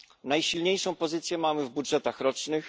Najsilniejszą pozycję mamy w budżetach rocznych.